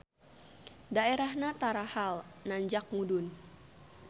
Daerahna tarahal nanjak mudun.